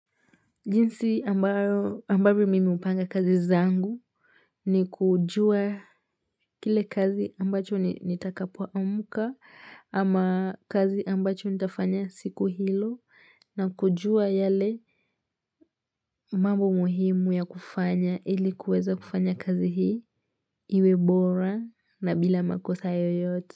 Jinsi ambayo ambavyo mimi hupanga kazi zangu ni kujua kile kazi ambacho nitakapuo amka ama kazi ambacho nitafanya siku hilo na kujua yale mambo muhimu ya kufanya ili kuweza kufanya kazi hii iwe bora na bila makosa yoyote.